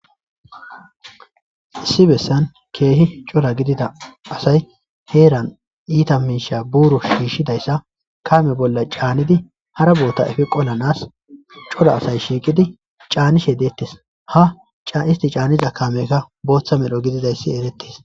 Issi bessan keehi cora gidida asay heeran iita miisha buuru shiishidayssa kame bolla caanidi hara boota efi qolanas cora asay shiiqidi caanishe deettis ha cisti caaniza kameka booththa medho gididayssi erettis.